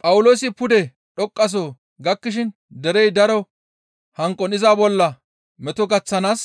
Phawuloosi pude dhoqqaso gakkishin derey daro hanqon iza bolla meto gaththanaas